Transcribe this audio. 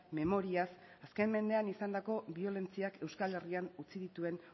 memoriaz azken mendean izandako biolentziak euskal herrian utzi dituen